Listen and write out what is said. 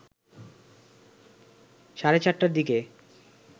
সাড়ে ৪টার দিকে